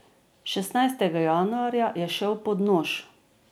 Šestnajstega januarja je šel pod nož.